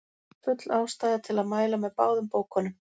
Full ástæða er til að mæla með báðum bókunum.